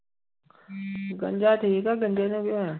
ਗੰਜਾ ਠੀਕ ਆ ਗੰਜੇ ਨੂੰ ਕੀ ਹੋਣਾ।